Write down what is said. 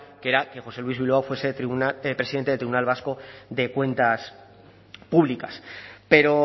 que era que josé luis bilbao fuese presidente del tribunal vasco de cuentas públicas pero